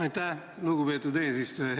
Aitäh, lugupeetud eesistuja!